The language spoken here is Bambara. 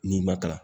N'i ma kalan